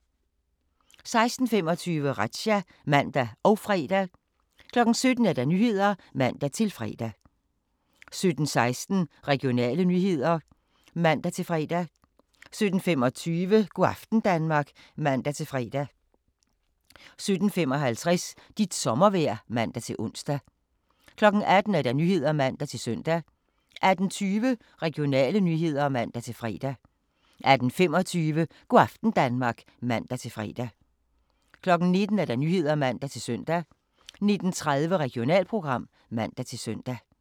16:25: Razzia (man og fre) 17:00: Nyhederne (man-fre) 17:16: Regionale nyheder (man-fre) 17:25: Go' aften Danmark (man-fre) 17:55: Dit sommervejr (man-ons) 18:00: Nyhederne (man-søn) 18:20: Regionale nyheder (man-fre) 18:25: Go' aften Danmark (man-fre) 19:00: Nyhederne (man-søn) 19:30: Regionalprogram (man-søn)